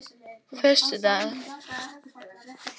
föstudag